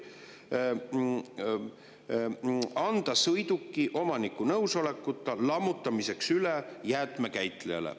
– U. R.] anda sõiduki registrisse kantud omaniku nõusolekuta nõuetekohaseks lammutamiseks üle jäätmekäitlejale.